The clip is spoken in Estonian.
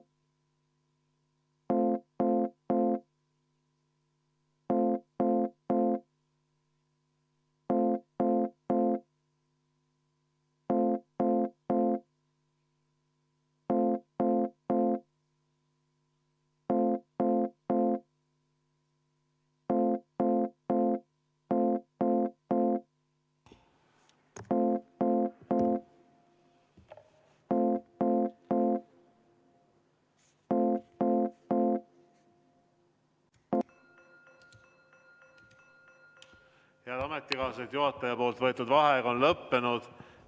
Head ametikaaslased, juhataja võetud vaheaeg on lõppenud.